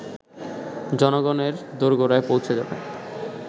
জনগণের দোরগোড়ায় পৌঁছে যাবে